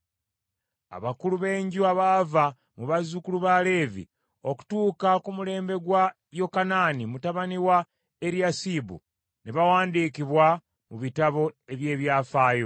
Abakulu b’enju abaava mu bazzukulu ba Leevi okutuuka ku mulembe gwa Yokanaani mutabani wa Eriyasibu, ne bawandiikibwa mu bitabo eby’ebyafaayo.